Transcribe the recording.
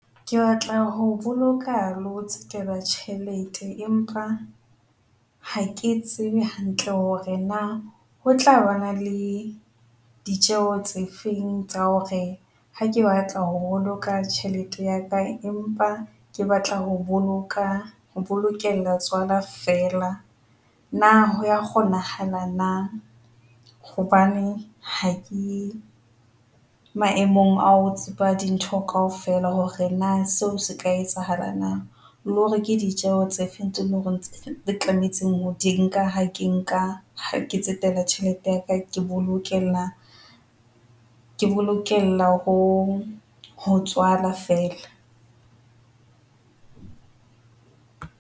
Ke batla ho boloka le ho tjhelete empa ha ke tsebe hantle hore na ho tlabana le ditjeho tse feng tsa hore ha ke batla ho boloka tjhelete ya ka, empa ke batla ho boloka ho bokella tswala fela na ho ya kgonahala na? Hobane ha ke maemong ao tshepa dintho kaofela hore na seo se ka etsahala na le hore ke ditjeho tse feng tse leng hore di tlametse ho di nka. Ha ke nka ha ke tsetela tjhelete ya ka, ke bolokela ke bolokela ho ho tshwana fela.